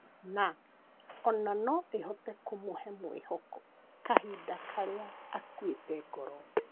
Na ona no ĩhote kũmũhe mwĩhoko kahinda karĩa akuĩte ngoro